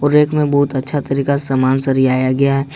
और रैक में बहुत अच्छा तरीका सामान सरियाया गया है।